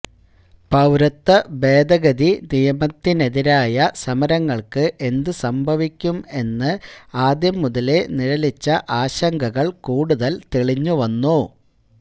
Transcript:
പൌരത്വ ഭേദഗതി നിയമത്തിനെതിരായ സമരങ്ങള്ക്ക് എന്ത് സംഭവിക്കും എന്ന ആദ്യം മുതലേ നിഴലിച്ച ആശങ്കകള് കൂടുതല് തെളിഞ്ഞു വന്നു